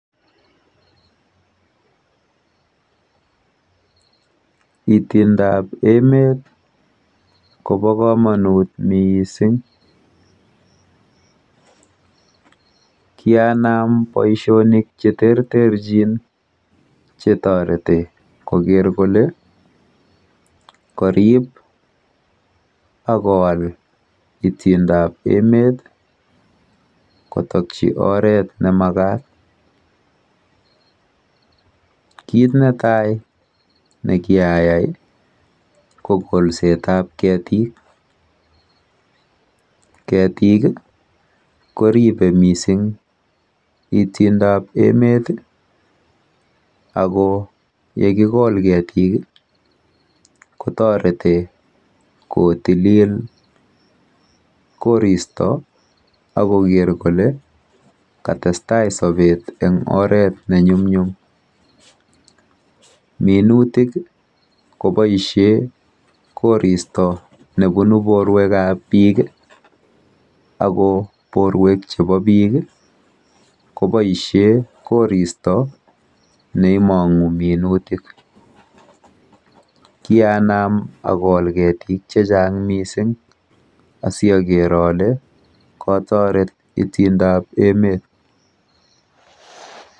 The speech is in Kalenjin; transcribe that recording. Itindap emet kopo komonut mising. Kianam boishonik cheterterchin chetoreti koker kole karip akowal itindap emet kotokchi olemakat. Kit netai nekiayai ko kolsetap ketik. Ketik, koripe mising itinda emet ako yekikol ketik kotoreti kotilil koristo akoker kole katestai sobet eng oret nenyumnyum. Minutik koboishe koristo nebunu borwekap biik ako borwek chepo biik koboishe koristo neimong'u minutik. Kianam akol ketik chechang mising asiaker ale katoret itindoap emet.